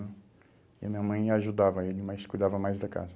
E a minha mãe ajudava ele, mas cuidava mais da casa.